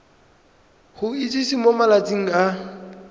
go itsise mo malatsing a